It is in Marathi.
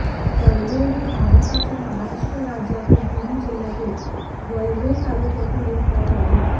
कढवे हे भारताच्या महाराष्ट्र राज्यातील पुणे जिल्ह्यातील वेल्हे तालुक्यातील एक गाव आहे